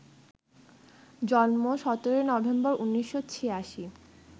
জন্ম ১৭ নভেম্বর, ১৯৮৬